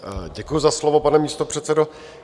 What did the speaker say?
Děkuji za slovo, pane místopředsedo.